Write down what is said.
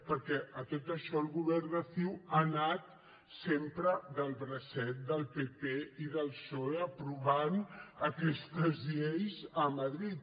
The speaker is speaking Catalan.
perquè a tot això el govern de ciu ha anat sempre del bracet del pp i del psoe aprovant aquestes lleis a madrid